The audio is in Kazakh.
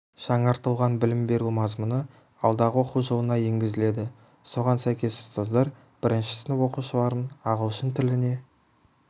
жаңартылған білім беру мазмұны алдағы оқу жылына енгізіледі соған сәйкес ұстаздар бірінші сынып оқушыларын ағылшын тіліне